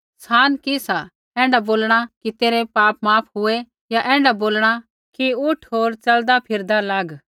सान कि सा ऐण्ढा बोलणा कि तेरै पाप माफ हुऐ या ऐण्ढा बोलणा कि उठ होर च़लदा फिरदा लाग